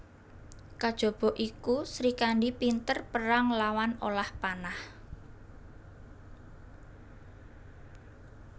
Kajaba iku Srikandhi pinter perang lan olah panah